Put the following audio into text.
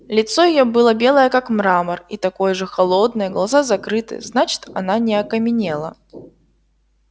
лицо её было белое как мрамор и такое же холодное глаза закрыты значит она не окаменела